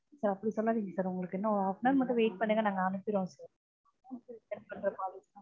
sir அப்படி சொல்லாதீங்க sir உங்களுக்கு இன்னும் ஒரு half an hour மட்டும் wait பண்ணுங்க நாங்க அனுப்பிடுவோம் sir